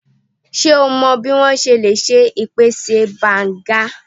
Ṣe o mọ bi o ṣe le ṣe ipẹtẹ Banga?